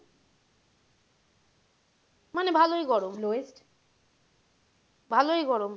মানে ভালোই গরম lowest ভালোই গরম।